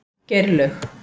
Geirlaug